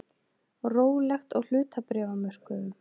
Rólegt á hlutabréfamörkuðum